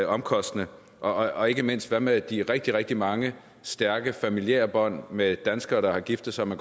omkostningstung og ikke mindst hvad med de rigtig rigtig mange stærke familiære bånd med danskere der har giftet sig med